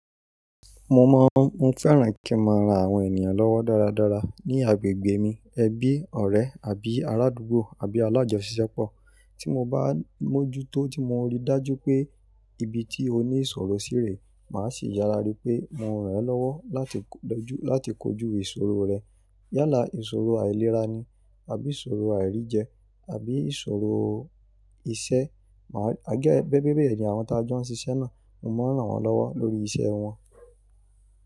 Mo mọ, mo fẹ́ràn kí n máa rán àwọn ènìyàn lọ́wọ́ dáradára ní agbègbè mi, ẹbí, ọ̀rẹ́ àbí arádúgbò àbí alájọṣisẹpọ̀. Tí mo bá mójú tó tí mo rí dájú pé ibi tí ó ní ìṣòro sí rè, màá sì yára rí pé mo rán ẹ́ lọ́wọ́ láti kojú ìṣòro rẹ. Yálà ìṣòro àìlera ni àbí ìṣòro àìríjẹ àbí ìṣòro iṣẹ́. Máa gẹ́gẹ́ bi àwọn tá jọ ń ṣiṣẹ́ náà, mo máa rán wọn lọ́wọ́ lórí iṣẹ́ wọn.